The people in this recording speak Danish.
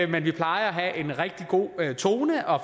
men vi plejer at have en rigtig god tone og